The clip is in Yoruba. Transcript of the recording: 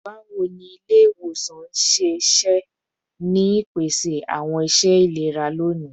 Bawo ni ile-iwosan n ṣiṣẹ ni ipese awọn iṣẹ ilera loni?